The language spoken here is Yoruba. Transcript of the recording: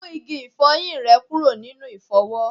Mú igi ifoyin rẹ kúrò nínú ifowo